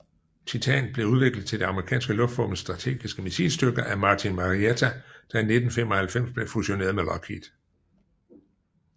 Titan blev udviklet til det amerikanske luftvåbens strategiske missilstyrker af Martin Marietta der i 1995 blev fusioneret med Lockheed